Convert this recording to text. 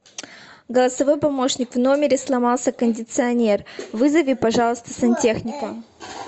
голосовой помощник в номере сломался кондиционер вызови пожалуйста сантехника